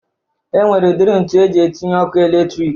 E nwere udiri ntu eji etinye ọkụ eletrik